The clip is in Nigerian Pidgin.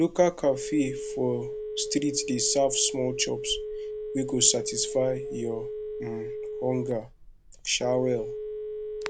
local cafe for street dey serve small chops wey go satisfy your um hunger um well